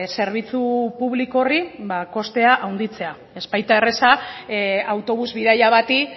zerbitzu publiko horri kostea handitzea ez baita erreza autobus bidaia bati